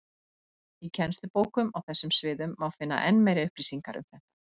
Í kennslubókum á þessum sviðum má finna enn meiri upplýsingar um þetta.